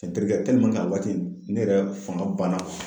Nterikɛ a waati ne yɛrɛ fanga banna.